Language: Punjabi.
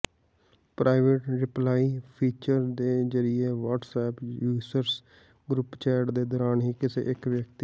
ਪ੍ਰਾਇਵੇਟ ਰਿਪਲਾਈ ਫੀਚਰ ਦੇ ਜਰਿਏ ਵਾਟਸਐਪ ਯੂਜਰਸ ਗਰੁਪ ਚੈਟ ਦੇ ਦੌਰਾਨ ਹੀ ਕਿਸੇ ਇੱਕ ਵਿਅਕਤੀ